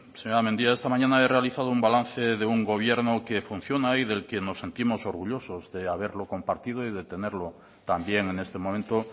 señora mendia esta mañana he realizado un balance de un gobierno que funciona y del que nos sentimos orgullosos de haberlo compartido y de tenerlo también en este momento